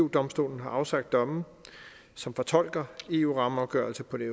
domstolen har afsagt domme som fortolker eu rammeafgørelsen på den